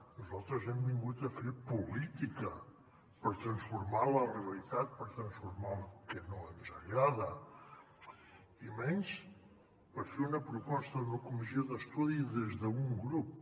nosaltres hem vingut a fer política per transformar la realitat per transformar el que no ens agrada i menys per fer una proposta d’una comissió d’estudi des d’un grup